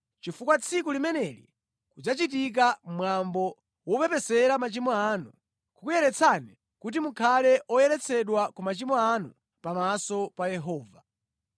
chifukwa tsiku limeneli kudzachitika mwambo wopepesera machimo anu, kukuyeretsani kuti mukhale oyeretsedwa ku machimo anu pamaso pa Yehova.